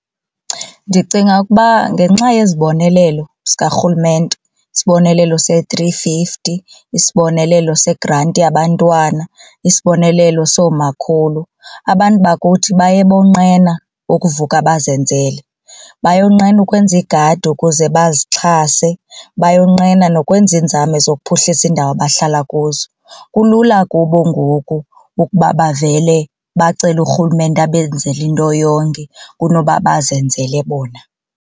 Ndicinga ukuba ngenxa yezibonelelo zikaRhulumente, isibonelelo se-three fifty, isibonelelo segranti yabantwana, isibonelelo soomakhulu abantu bakuthi baye bonqena ukuvuka bazenzele. Bayonqena ukwenza igadi ukuze bazixhase, bayonqena nokwenza iinzame zokuphuhlisa iindawo abahlala kuzo. Kulula kubo ngoku ukuba bavele bacele uRhulumente abenzele into yonke kunoba bazenzele bona.